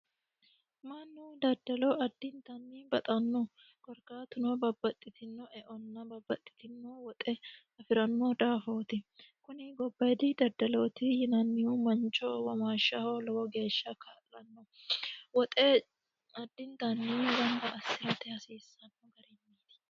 Mannu daddallo addittanni baxano korkaatuno babbaxitino eonna babbaxitino woxe affirano daafoti kuni daddaloti yinannihu lowo geeshsha danchaho lowo geeshsha kaa'lano woxe addittani gamba assirate kaa'lanoho.